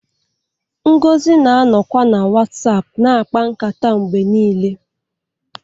Ngozi na-anọkwa na WhatsApp na-akpa nkata mgbe niile